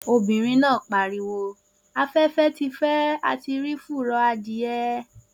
Obìnrin náà pariwo 'afẹ́fẹ́ ti fẹ́ a ti rí fùrọ̀ adìẹ'